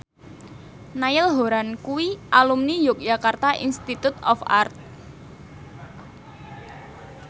Niall Horran kuwi alumni Yogyakarta Institute of Art